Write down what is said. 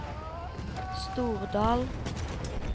Stordal